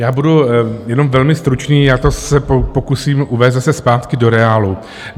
Já budu jenom velmi stručný, já se to pokusím uvést zase zpátky do reálu.